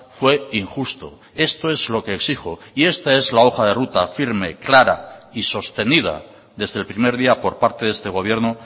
fue injusto esto es lo que exijo y esta es la hoja de ruta firme clara y sostenida desde el primer día por parte de este gobierno